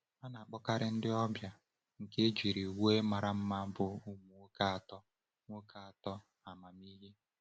A na-akpọkarị ndị ọbịa nke ejiri uwe mara mma bụ ụmụ nwoke atọ nwoke atọ amamihe.